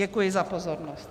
Děkuji za pozornost.